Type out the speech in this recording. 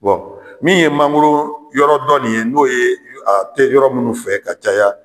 Bɔn min ye mangoro yɔrɔ dɔ nin ye n'o ye a tɛ yɔrɔ minnu fɛ ka caya.